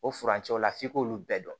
O furancɛw la f'i k'olu bɛɛ dɔn